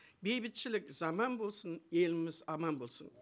бейбітшілік заман болсын еліміз аман болсын